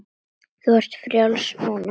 Þú ert frjáls núna.